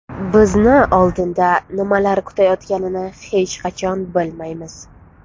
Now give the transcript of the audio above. Bizni oldinda nimalar kutayotganini hech qachon bilmaymiz.